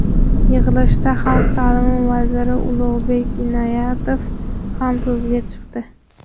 Yig‘ilishda Xalq ta’limi vaziri Ulug‘bek Inoyatov ham so‘zga chiqdi .